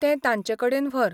तें ताचे कडेन व्हर.